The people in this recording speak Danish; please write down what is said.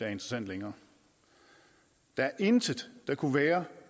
er interessant længere der er intet der kunne være